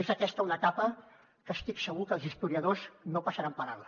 és aquesta una etapa que estic segur que els historiadors no passaran per alt